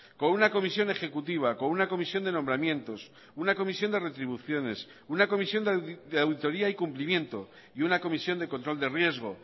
con una comisión ejecutiva con una comisión de nombramientos una comisión de retribuciones una comisión de auditoría y cumplimiento y una comisión de control de riesgo